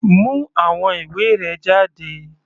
Mú àwọn ìwé rẹ jáde.